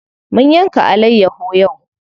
Mun yanka alayyaho yau.